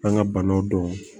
An ka banaw dɔn